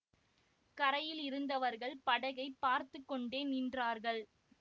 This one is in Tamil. கரையில் இருந்தவர்கள் படகைப் பார்த்து கொண்டே நின்றார்கள்